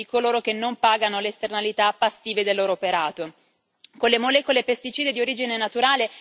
che affronti lo stesso carico amministrativo e burocratico di coloro che non pagano le esternalità passive del loro operato.